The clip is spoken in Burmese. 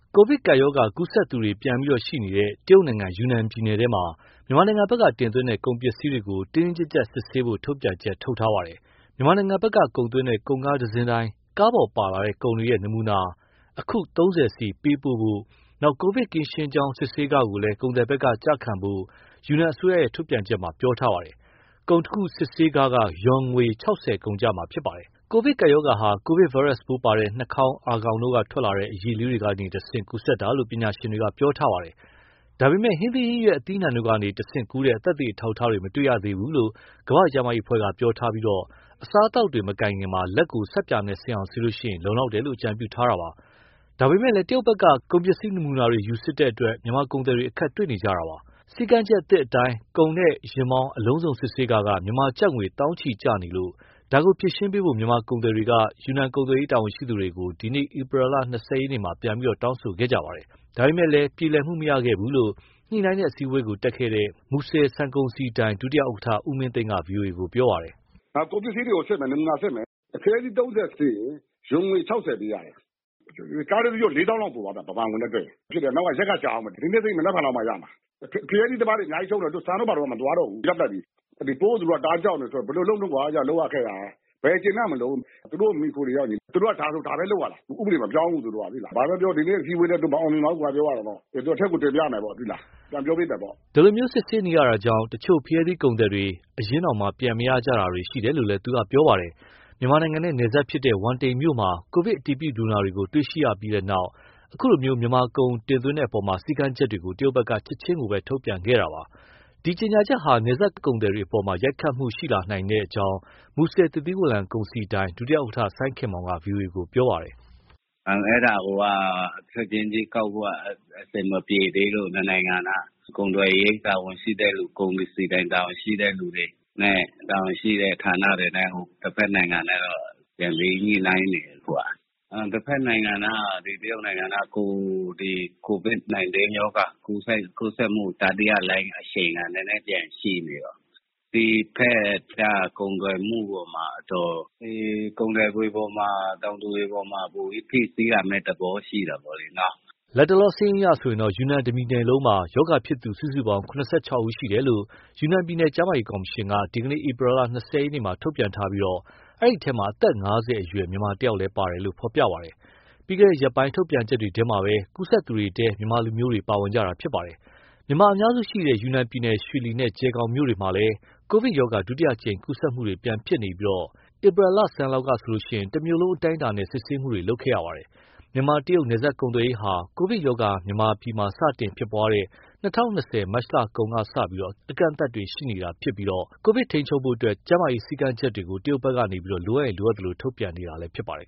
ကိုဗစ်ကပ်ရောဂါ ကူးစက်သူတွေပြန်ရှိနေတဲ့ တရုတ်နိုင်ငံ ယူနန်ပြည်နယ်ထဲမှာ မြန်မာနိုင်ငံဘက်က တင်သွင်းတဲ့ ကုန်ပစ္စည်းတွေကို တင်းတင်းကြပ်ကြပ် စစ်ဆေးဖို့ ထုတ်ပြန်ချက် ထုတ်ထားပါတယ်။ မြန်မာနိုင်ငံဘက်က ကုန်သွင်းတဲ့ ကုန်ကားအစီးတိုင်း ကားပေါ်ပါလာတဲ့ ကုန်တွေရဲ့ နမူနာ၊ နမူနာအခု ၃၀ စီ ပေးပို့ဖို့ ကိုဗစ် ကင်းရှင်းကြောင်း စစ်ဆေးခကိုလည်း ကုန်သည်ဘက်က ကျခံဖို့ ယူနန်အစိုးရရဲ့ ထုတ်ပြန်ချက်မှာ ပြောထားပါတယ်။ ကုန်တခုစစ်ဆေးခက ယွမ်ငွေ ၆၀ ကုန်ကျမှာဖြစ်ပါတယ်။ "ကိုဗစ်ကပ်ရောဂါဟာ ကိုဗစ်ဗိုင်းရပ်စ်ပိုးပါတဲ့ နှာခေါင်း၊ အာခေါင်တို့က ထွက်လာတဲ့ အရည်လေးတွေက တဆင့် ကူးစက်တာလို့ ပညာရှင်တွေက ပြောထားပါတယ်။ ဒါပေမဲ့ ဟင်းသီး၊ ဟင်းရွက်၊ အသီးအနှံတို့ကနေတဆင့် ကူးတဲ့ သက်သေအထောက်အထားတွေ မတွေ့ရသေးဘူးလို့ ကမ္ဘာ့ကျန်းမာရေးအဖွဲ့က ပြောထားပြီး အစားအသောက်တွေ မကိုင်ခင် လက်ကို ဆပ်ပြာနဲ့ စင်အောင်ဆေးရင် လုံလောက်တယ်လို့ အကြံပြုထားတာပါ။ ဒါပေမဲ့ တရုတ်ဘက်က ကုန်ပစ္စည်း နမူနာတွေ ယူစစ်တဲ့အတွက် မြန်မာကုန်သည်တွေ အခက်တေ့ွနေကြတာပါ။ စည်းကမ်းချက်သစ်အတိုင်း ကုန်နဲ့ယာဉ်မောင်း အလုံးစုံစစ်ဆေးခက မြန်မာကျပ်ငွေ သောင်းချီကျနေလို့ ဒါကိုဖြေရှင်းပေးဖို့ မြန်မာကုန်သည်တွေက ယူနန်ကုန်သွယ်ရေး တာဝန်ရှိသူတွေကို ဒီနေ့ ဧပြီလ ၂၀ ရက်မှာ ပြန်ပြီး တောင်းဆိုခဲ့ကြပါတယ်။ ဒါပေမဲ့ ပြောလည်မှု မရခဲ့ဘူးလို့ ညှိနှိုင်းတဲ့ အစည်းအဝေးတက်ခဲ့သူ မူဆယ် ဆန်ကုန်စည်ဒိုင် ဒုဥက္ကဋ္ဌ ဦးမင်းသိန်းက ဗွီအိုအေကို ပြောပါတယ်။ ၄၀,၀၀၀ လောက်ပိုသွားတယ် မြန်မာငွေနဲ့တွက်ရင်၊ နောက် ရက်ကကြာဦးမယ်။ ဒီနေ့စစ်ရင် မနက်ဖြန်လောက်မှရမယ်။ ဖရဲသီးသမားတွေ အများကြီး ရှုံးတယ်။ ဆန်တို့၊ ဘာတို့က မသွားတော့ဘူး ရပ်ပစ်လိုက်ပြီ။ ဒီပိုးကို သူတို့က တအားကြောက်နေတာဆိုတော့ ဘယ်လိုလုပ်မလဲကွာ လုပ်ရကိုင်ရတာ။ ဘယ်ကျေနပ်မတုန်း၊ သူတို့ကို မှီခိုနေတော့ သူတို့ကဒါဆိုရင် ဒါပဲလုပ်ရတာ ဥပဒေမပြောင်းဘူး သူတို့က။ ဘာပဲပြောပြော ဒီနေ့အစည်းအဝေးလည်း မအောင်မြင်ပါဘူး၊ သူတို့က အထက်ကိုတင်ပြမယ်၊ အဲဒီလို စစ်ဆေးနေရတာကြောင့် တချို့ ဖရဲသီးကုန်သည်တွေ အရင်းတောင် ပြန်မရကြတာရှိတယ်လို့လည်း သူကပြောပါတယ်။ မြန်မာနိုင်ငံနဲ့ နယ်စပ်ဖြစ်တဲ့ ဝမ်တိန်မြို့မှာ ကိုဗစ်အတည်ပြုလူနာတွေကို တေ့ွရှိပြီးနောက် ခုလို မြန်မာကုန်တင်သွင်းတဲ့အပေါ် စည်းကမ်းချက်တွေကို တရုတ်ဘက်က ချက်ချင်း ထုတ်ပြန်ခဲ့တာပါ။ ဒီကြေညာချက်ဟာ နယ်စပ်ကုန်သည်တွေအပေါ်မှာ ရိုက်ခတ်မှုရှိလာနိုင်ကြောင်း မူဆယ်သစ်သီးဝလံကုန်စည်ဒိုင် ဒုဥက္ကဋ္ဌ စိုင်းခင်မောင်က ဗွီအိုအေကို ပြောပါတယ်။ ချက်ချင်းကြီးကောက်ဖို့ အဆင်မပြေလို့ နှစ်နိုင်ငံ ကုန်သွယ်ရေးတာဝန်ရှိတဲ့သူ၊ ကုန်စည်ဒိုင်တာဝန်ရှိတဲ့သူတွေနဲ့ တဘက်နိုင်ငံနဲ့ ပြန်ပြီးညှိနှိုင်းနေတယ် အခု။ တဘက်နိုင်ငံက COVID-19 ရောဂါ ကူးစက်မှုတတိယလှိုင်း အရှိန်က နည်းနည်းပြန်ရှိနေတော့ ဒီဘက်က ကုန်သွယ်မှု အပေါ်မှာတော့ ကုန်သည်တွေအပေါ်မှာ တောင်သူတွေအပေါ်မှာ ဖိစီးလာမယ့် သဘောမျိုး လက်တလောစာရင်းအရ ယူနန် တပြည်နယ်လုံးမှာ ရောဂါဖြစ်သူစုစုပေါင်း ၇၆ ယောက်ရှိတယ်လို့ ယူနန်ပြည်နယ် ကျန်းမာရေးကော်မရှင်က ဒီနေ့ ဧပြီလ ၂၀ ရက်မှာ ထုတ်ပြန်ထားပြီး အဲဒီထဲမှာ အသက် ၅၀ အရွယ် မြန်မာတယောက်ပါတယ်လို့ ဖော်ပြထားပါတယ်။ ပြီးခဲ့ရက်ပိုင်း ထုတ်ပြန်ချက်တွေထဲမှာပဲ ကူးစက်သူတွေထဲမှာ မြန်မာလူမျိုးတွေပါဝင် ပါတယ်။ မြန်မာအများစုရှိတဲ့ ယူနန်ပြည်နယ် ရွှေလီနဲ့ ကျယ်ဂေါင်မြို့တွေမှာလည်း ကိုဗစ်ရောဂါ ဒုတိယအကြိမ် ကူးစက်မှုတွေ ပြန်ဖြစ်နေပြီး ဧပြီလဆန်းလောက်ကဆိုရင် တမြို့လုံး အတိုင်းအတာနဲ့ စစ်ဆေးမှုတွေ လုပ်ခဲ့ရပါတယ်။ မြန်မာ - တရုတ်နယ်စပ်ကုန်သွယ်ရေးဟာ ကိုဗစ်ရောဂါ မြန်မာပြည်မှာ စတင်ဖြစ်ပွားတဲ့ ၂၀၂၀ မတ်လကုန်ကစလို့ အကန့်အသတ် ရှိနေတာဖြစ်ပြီး ကိုဗစ်ထိန်းချုပ်ဖို့အတွက် ကျန်းမာရေး စည်းကမ်းချက်တွေကို တရုတ်ဘက်က လိုအပ်သလို ထုတ်ပြန်နေတာလည်း ဖြစ်ပါတယ်